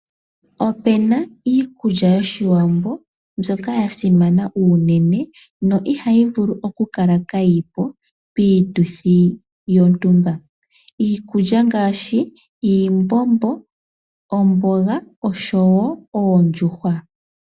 Opuna iikulya yoshiwambo mbyoka yasimana unene na ihayi vulu okukala kayipo piituthi yontumba iikulya ngaashi iimbombo, omboga nosho wo oondjuhwa.